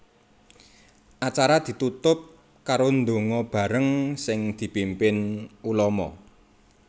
Acara ditutup karo ndonga bareng sing dipimpin ulama